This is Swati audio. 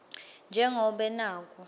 nje ngobe naku